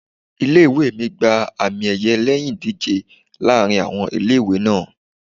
Ilé ìwée mi gba àmì ẹ̀yẹ lẹ́yìn ìdíje láàárín àwọn ilé ìwé náà.